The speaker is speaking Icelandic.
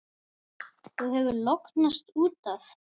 Þú hefur lognast út af!